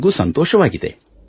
ನನಗೂ ಸಂತೋಷವಾಗಿದೆ